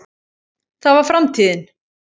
það var framtíðin.